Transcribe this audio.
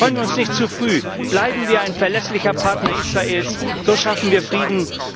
Freuen wir uns nicht zu früh, bleiben wir ein verlässlicher Partner Israels, so schaffen wir Frieden.